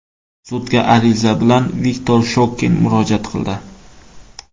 Sudga ariza bilan Viktor Shokin murojaat qildi.